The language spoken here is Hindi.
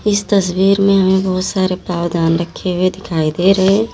इस तस्वीर में हमें बहुत सारे पावदान रखे हुए दिखाई दे रहे हैं।